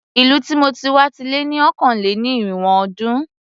Ìlú tí mo ti wá ti lé ní ọ̀kàn-lé-ní-irínwó ọdún.